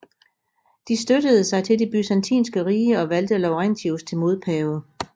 De støttede sig til det byzantinske rige og valgte Laurentius til modpave